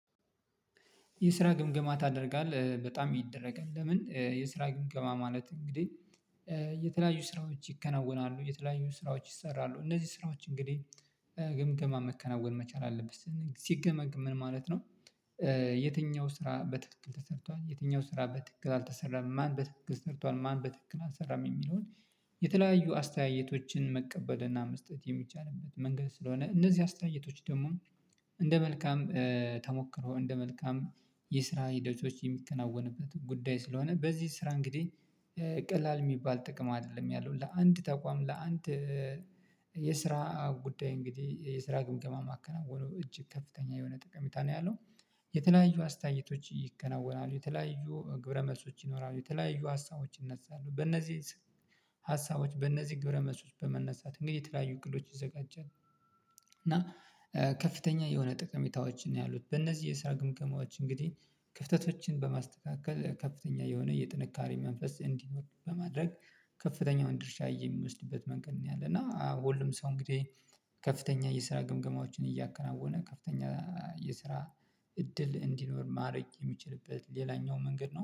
የስራ ግምገማ ታደርጋለህ በጣም ይደረጋል ለምን የስራ ግምገማ ማለት? እንግዲህ የተለያዩ ስራዎች ይከናወናሉ የተለያዩ ስራዎች ይሰራሉ እነዚህ ስራዎች እንግዲህ ግምገማ መከናወን መቻል አለብት ሲገመገም ምን ማለት ነው። የትኛው ስራ በትክክል ተሰርቷል የትኛው ስራ በትክክል አልተሰራም ማን በትክክል ሰርቷል ማን በትክክል አልሰራም የሚለውን። የተለያዩ አስተያየቶችን መቀበልና መስጠት የሚቻልበት መንገድ ስለሆነ እነዚህ አስተያየቶች ደግሞ እንደ መልካም ተሞክሮ እንደ መልካም የስራ ሂደቶች የሚከናወንበት ጉዳይ ስለሆነ በዚህ ስራ እንግዲህ ቀላል የሚባል ጥቅም አይደለም። ያለው ለአንድ ተቋም ለአንድ የስራ ጉዳይ እንግዲህ የስራ ግምገማ ማከናወኑ እጅግ ከፍተኛ የሆነ ጠቀሚታ ነው ያለው። የተለያዩ አስተያየቶች ይከናወናሉ የተለያዩ ግብረመልሶች ይኖራሉ የተለያዩ ሀሳቦች ይነሳሉ በእነዚህ ሀሳቦች በእነዚህ ግብረ መልሶች በመነሳት እንግዲህ የተለያዩ እቅዶች ይዘጋጃል። እና ከፍተኛ የሆነ ጠቀሜታዎችን ነው ያሉት። በእነዚህ የስራ ግምገማዎች እንግዲህ ክፍተቶችን በማስተካከል ከፍተኛ የሆነ የጥንካሬ መንፈስ እንዲኖር በማድረግ ከፍተኛውን ድርሻ እየሚወስድበት መንገድ ነው ያለ። እና ሁሉም ሰው እንግዲህ ከፍተኛ የስራ ግምገማዎችን እያከናወነ ከፍተኛ የስራ እድል እንዲኖር ማድረግ የሚችልበት ሌላኛው መንገድ ነው